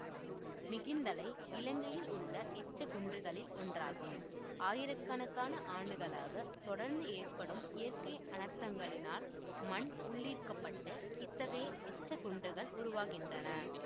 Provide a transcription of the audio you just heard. மிகிந்தலை இலங்கையில் உள்ள எச்சக்குன்றுகளில் ஒன்றாகும் ஆயிரக்கணக்கான ஆண்டுகளாக தொடர்ந்து ஏற்படும் இயற்கை அனர்த்தங்களினால் மண் உள்ளீர்க்கப்பட்டு இத்தகைய எச்சக்குன்றுகள் உருவாகின்றன